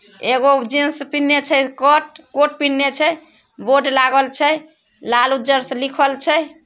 एगो जीन्स पेन्हले छे कोट कोट पेन्हले छे बोर्ड लागल छे लाल उज्जर से लिखल छे।